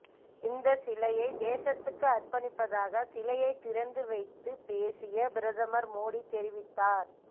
இந்த சிலையை தேசத்துக்கு அர்பணிப்பதாக சிலையை திறந்து வைத்து பேசிய பிரதமர் மோதி தெரிவித்தார்